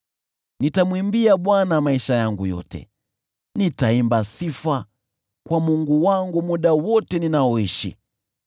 Nitamwimbia Bwana maisha yangu yote; nitaimba sifa kwa Mungu wangu muda wote ninaoishi.